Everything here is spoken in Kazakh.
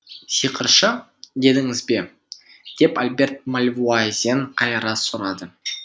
сиқыршы дедіңіз бе деп альберт мальвуазен қайыра сұрады